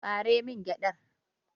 Ɓare min gyaɗar!